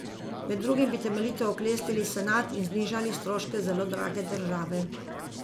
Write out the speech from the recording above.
Med drugim bi temeljito oklestili senat in znižali stroške zelo drage države.